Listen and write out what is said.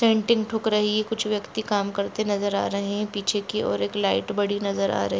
Centering ठुक रही है कुछ व्यक्ति काम करते नजर आ रहे है पीछे की और एक लाइट बड़ी नजर आ रही है।